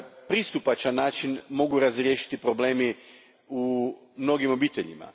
pristupačan način mogu razriješiti problemi u mnogim obiteljima.